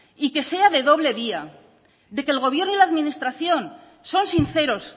y que sea de doble vía de que el gobierno y la administración son sinceros